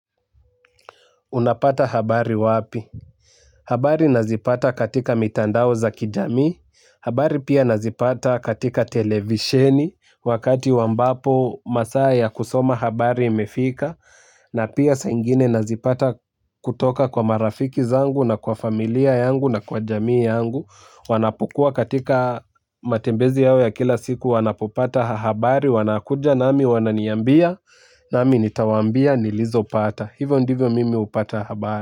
Unapata habari wapi? Habari nazipata katika mitandao za kijamii. Habari pia nazipata katika televisheni wakati ambapo masaa ya kusoma habari imefika. Na pia saa ingine nazipata kutoka kwa marafiki zangu na kwa familia yangu na kwa jamii yangu. Wanapokuwa katika matembezi yao ya kila siku wanapopata habari wanakuja nami wananiambia nami nitawaambia nilizopata. Hivyo ndivyo mimi hupata habari.